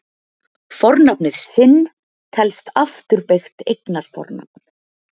Fornafnið sinn telst afturbeygt eignarfornafn.